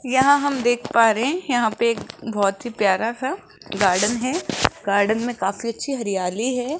यहां हम देख पा रहे हैं यहां पे एक बहुत ही प्यारा सा गार्डन है गार्डन में काफी अच्छी हरियाली है।